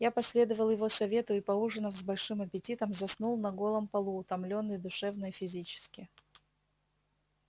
я последовал его совету и поужинав с большим аппетитом заснул на голом полу утомлённый душевно и физически